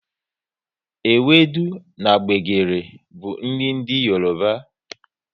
Ewudu na gbegiri bụ nri ndị Yoroba